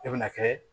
I bɛna kɛ